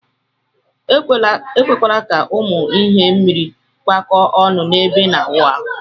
Ekwekwana ka ụmụ ihe mmiri kpakọ ọnụ ebe ina awụ arụ.